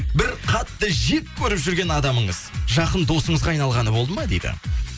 бір қатты жек көріп жүрген адамыңыз жақын досыңызға айналғаны болды ма дейді